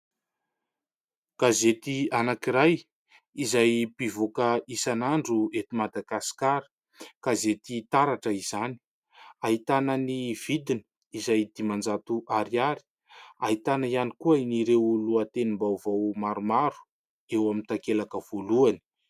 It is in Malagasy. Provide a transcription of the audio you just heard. Gazety anankiray izay mpivoaka isanandro eto Madagasikara, Gazety " Taratra " izany. Ahitana ny vidina izay dimanjato ariary , ahitana ihany koa ireo lohatenim-baovao maromaro eo amin'ny takelaka voalohany.